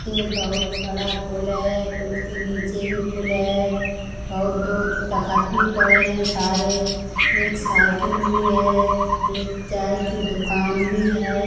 ये बहोत बड़ा पूल है पूल के नीचे भी पूल है। बहोत दूर तखत भी पड़े हैं सारे। एक साइकिल भी है। एक चाय की दुकान भी है।